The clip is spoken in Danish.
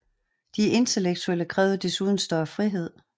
De intellektuelle krævede desuden større frihed